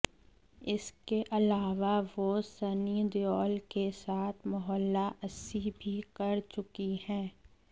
इसके अलावा वो सनी देओल के साथ मोहल्ला अस्सी भी कर चुकी हैं